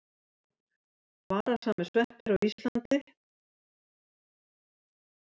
Varasamir sveppir á Íslandi.